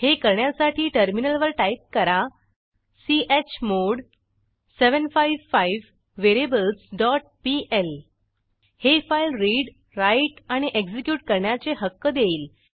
हे करण्यासाठी टर्मिनलवर टाईप करा चमोड 755 व्हेरिएबल्स डॉट पीएल हे फाईल रीड राईट आणि एक्झिक्यूट करण्याचे हक्क देईल